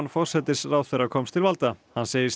forsætisráðherra komst til valda hann segist